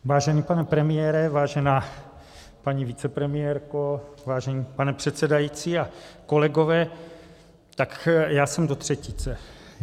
Vážený pane premiére, vážená paní vicepremiérko, vážený pane předsedající a kolegové, tak já jsem do třetice.